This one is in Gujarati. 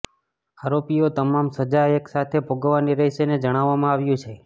આરોપીઓએ તમામ સજા એકસાથે ભોગવવાની રહેશેને જણાવવામાં આવ્યું છે